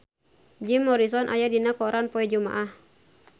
Jim Morrison aya dina koran poe Jumaah